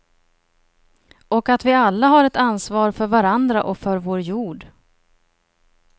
Och att vi alla har ett ansvar för varandra och för vår jod.